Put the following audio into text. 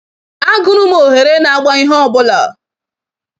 Agụrụ m oghere nagba ihe ọbụla.